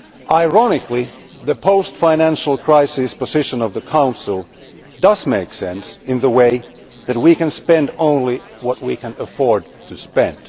Ironically, the post financial crisis position of the Council does make sense in the way that we can spend only what we can afford to spend.